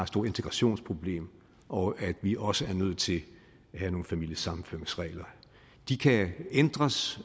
stort integrationsproblem og at vi også er nødt til at have nogle familiesammenføringsregler de kan ændres